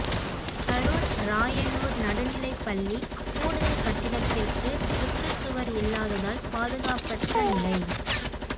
கரூர் ராயனூர் நடுநிலை பள்ளி கூடுதல் கட்டிடத்திற்கு சுற்றுச்சுவர்இல்லாததால் பாதுகாப்பற்ற நிலை